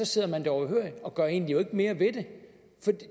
sidder det overhørig og egentlig ikke gør mere ved det